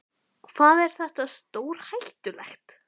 Hvað er þetta stórhættulegt?